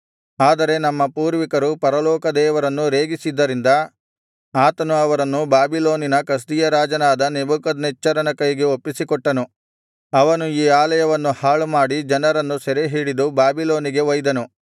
ಆದರೆ ನಮ್ಮ ಪೂರ್ವಿಕರು ಪರಲೋಕದೇವರನ್ನು ರೇಗಿಸಿದ್ದರಿಂದ ಆತನು ಅವರನ್ನು ಬಾಬಿಲೋನಿನ ಕಸ್ದೀಯ ರಾಜನಾದ ನೆಬೂಕದ್ನೆಚ್ಚರನ ಕೈಗೆ ಒಪ್ಪಿಸಿಕೊಟ್ಟನು ಅವನು ಈ ಆಲಯವನ್ನು ಹಾಳುಮಾಡಿ ಜನರನ್ನು ಸೆರೆಹಿಡಿದು ಬಾಬಿಲೋನಿಗೆ ಒಯ್ದನು